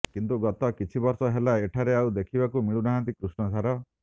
କିନ୍ତୁ ଗତ କିଛି ବର୍ଷ ହେଲା ଏଠାରେ ଆଉ ଦେଖିବାକୁ ମିଳୁନାହାନ୍ତି କୃଷ୍ଣସାର